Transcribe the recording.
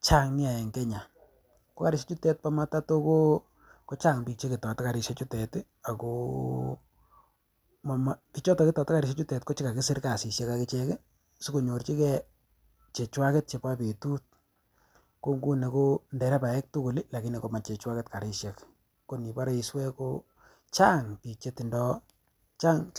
chang nia en kenya ko karisiechuto po matato ko chang biik cheketote karisiechutet akoo bichoto ketote karisiechutet kochekakisir kasisiek akichek sikonyorchike chechwaket chepo betut ko nguni ko nderebaek tugul lakini komachechwaket karisiek konibore iswee ko chang biik chetindoo.